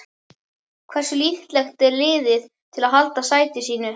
Hversu líklegt er liðið til að halda sæti sínu?